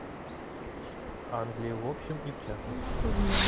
англия в общем и в частности